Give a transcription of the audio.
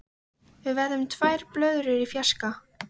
Við verðum tvær blöðrur í fjarska.